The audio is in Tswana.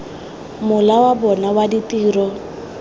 mola wa bona wa ditiro